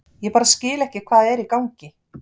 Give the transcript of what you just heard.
Ég bara skil ekki hvað er í gangi.